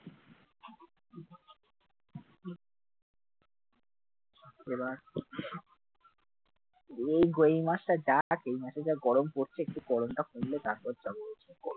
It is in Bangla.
ও গো এই মাসটা যা তাপ, এই মাসে যা গরম পড়ছে একটু গরমটা কমলে তারপর যাবো